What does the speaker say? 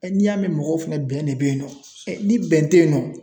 n'i y'a mɛn mɔgɔw fɛnɛ bɛn de be yen nɔ ni bɛn tɛ yen nɔ